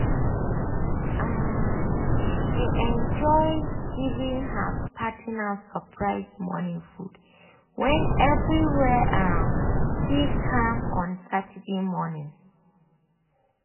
um she dey enjoy giving her partner surprise morning food when everywhere um still calm on saturday morning.